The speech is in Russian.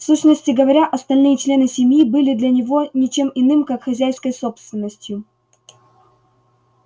в сущности говоря остальные члены семьи были для него не чем иным как хозяйской собственностью